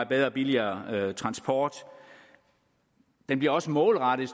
bedre og billigere transport den bliver også målrettet